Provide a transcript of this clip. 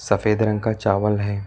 सफेद रंग का चावल है।